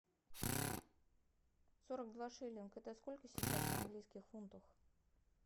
сорок два шиллинга это сколько сейчас в английских фунтах